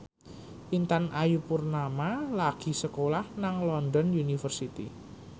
Intan Ayu Purnama lagi sekolah nang London University